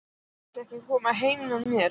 Viltu ekki koma heim með mér?